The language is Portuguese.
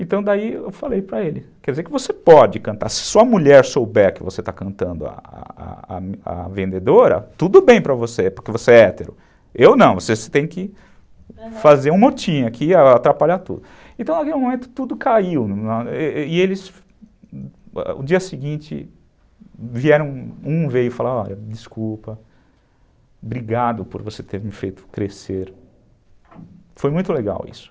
Então, daí eu falei para ele, quer dizer que você pode cantar. Se sua mulher souber que você está cantando a a a a vendedora, tudo bem para você, porque você é hétero eu não, você tem que fazer um motim aqui, atrapalhar tudo. Então naquele momento tudo caiu e eles, no dia seguinte, um veio e falou desculpa, obrigado por você ter me feito crescer. Foi muito legal isso.